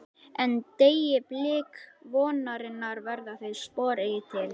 En- deyi blik vonarinnar verða þau spor eigi til.